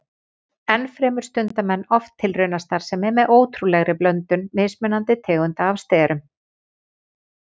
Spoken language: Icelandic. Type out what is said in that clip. Ennfremur stunda menn oft tilraunastarfsemi með ótrúlegri blöndun mismunandi tegunda af sterum.